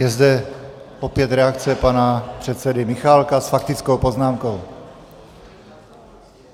Je zde opět reakce pana předsedy Michálka s faktickou poznámkou.